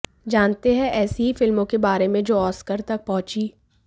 जानते हैं ऐसी ही फिल्मों के बारे में जो ऑस्कर तक पहुंचीं